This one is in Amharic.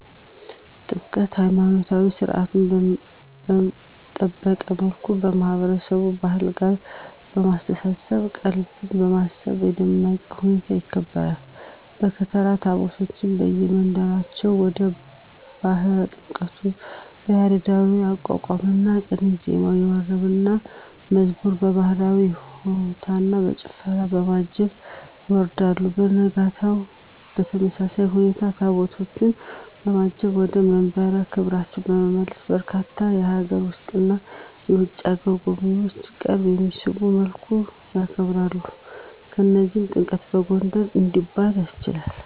ጥምቀት!! ሀይማኖታዊ ሰርዓቱን በጠበቀ መልኩ ከማህበረሰቡ ባህል ጋር በማስተሳሰር ቀልብን በመሳብ በደመቀ ሁኔታ ይከበራል። በከተራ ታቦታቱን ከየመንበራቸው ወደ ባህረ ጥምቀቱ በያሬዳዊ የአቋቋምና ቅኔ ዜማ፣ በወረብና መዝሙር፣ በባህላዊ በሆታና በጭፈራ፣ በማጀብ ያወርዳል። በነጋታው በተመሳሳይ ሁኔታ ታቦታቱን በማጀብ ወደ መንበረ ክብራቸው በመመለስ በርካታ የሀገር ውስጥና የውጭ አገር ጎብኚዎችን ቀልብ በሚስብ መልኩ ያከብራል። ለዚህም ጥምቀትን በጎንደር እንዲባል አስችሎታል!!